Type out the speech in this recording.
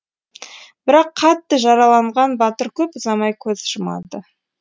бірақ қатты жараланған батыр көп ұзамай көз жұмады